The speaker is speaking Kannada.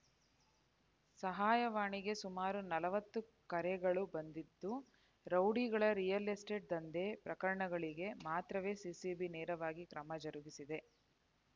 ಸಹಾಯವಾಣಿಗೆ ಸುಮಾರು ನಲವತ್ತು ಕರೆಗಳ ಬಂದಿದ್ದು ರೌಡಿಗಳ ರಿಯಲ್‌ ಎಸ್ಟೇಟ್‌ ದಂಧೆ ಪ್ರಕರಣಗಳಿಗೆ ಮಾತ್ರವೇ ಸಿಸಿಬಿ ನೇರವಾಗಿ ಕ್ರಮ ಜರುಗಿಸಿದೆ